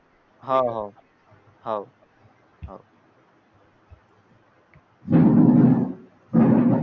हाव हाव हाव